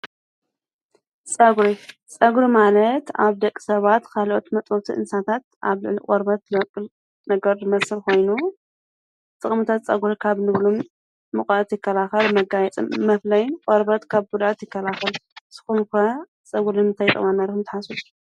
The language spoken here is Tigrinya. ፀጕሪ፡- ፀጕሪ ማለት ኣብ ደቂ ሰባት ካልኦት መጥበውቲ እንሳታት ኣብ ልዕል ቆርበት ልበቕል ነገር መስል ኾይኑ ጥቕሙታት ፀጕሪ ካብ ንብሎን ሙቐት ይከላኸል፡፡ መጋየፅ መፍለይ ቆርበት ካብ ጉድኣት ይከላኸል፡፡ ስኹም ከ ጸጕር ንምታይ ንጠቅም ኢልኩም ትሓስቡ?